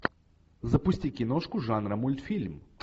запусти киношку жанра мультфильм